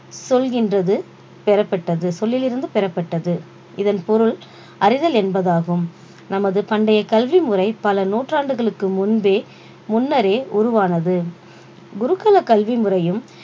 சொல்கின்றது பெறப்பட்டது சொல்லில் இருந்து பெறப்பட்டது இதன் பொருள் அறிதல் என்பதாகும் நமது பண்டைய கல்வி முறை பல நூற்றாண்டுகளுக்கு முன்பே முன்னரே உருவானது குருகல கல்வி முறையும்